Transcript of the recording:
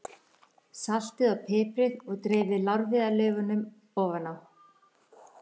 Saltið og piprið og dreifið lárviðarlaufunum ofan á.